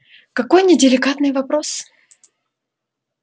какой неделикатный вопрос